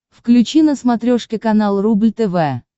включи на смотрешке канал рубль тв